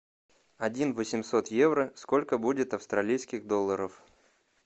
один восемьсот евро сколько будет австралийских долларов